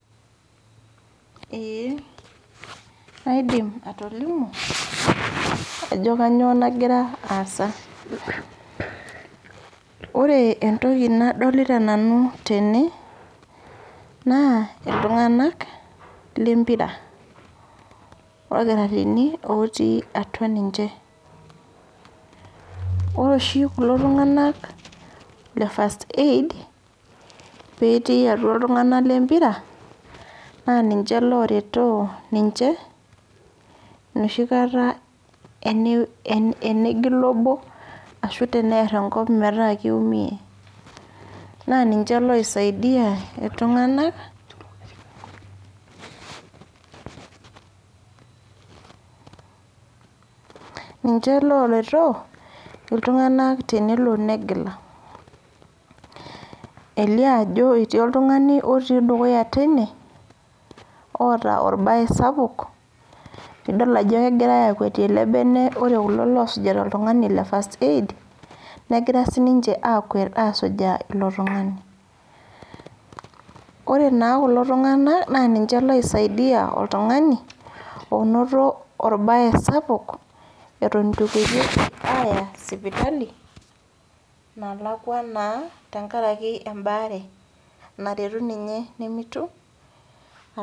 Ore entoki nadolita Nanu tene naa iltunganak lempira o kitarrini otii atua ninche. Ore oshi kulo tunganak le {first aid},naa ninche ooretooninche tenegila obo ashu teniar enkop. Niche sii oisadia iltunganak tenelo negila naa tenelo sii nitii oltungani otii atua ene oota orbae sapuk, ore kulo kulie oosujita oltungani le {first aid} eton itu eyai sipitali tenkaraki embaare.